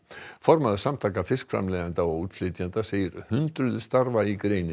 formaður Samtaka fiskframleiðenda og útflytjenda segir hundruð starfa í